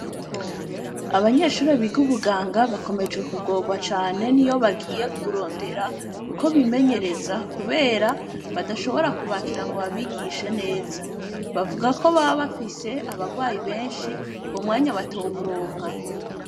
Abanyeshure biga ubuganga bakomeje kugorwa cane niyo bagiye kurondera ukwo bimenereza kubera bashobora kwubakira ngo babigishe neza. Bavuga ko baba bafise abarwayi benshi uwo mwanya batowuronka.